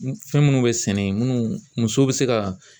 Fɛn muunnu bɛ sɛnɛ munnu musow bɛ se ka